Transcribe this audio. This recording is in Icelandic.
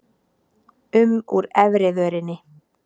um úr efri vörinni.